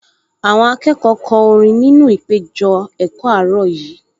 Àwọn akẹ́kọ̀ọ kọ orin ní ìpéjọ-ẹ̀kọ́ àárọ̀ yìí